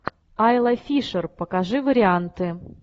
айла фишер покажи варианты